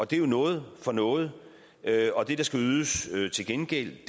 det er jo noget for noget og det der skal ydes til gengæld